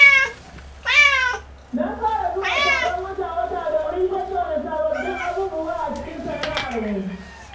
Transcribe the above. Na fara zuwa taron wata-wata domin tattauna sabbabbib abubuwa a cikin sana’armu.